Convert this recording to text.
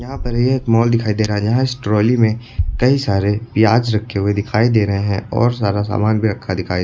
यहां पर ये एक मॉल दिखाई दे रहा है जहां इस ट्रॉली में कई सारे प्याज रखे हुए दिखाई दे रहे हैं और सारा सामान भी रखा दिखाई --